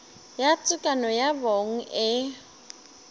ya tekano ya bong e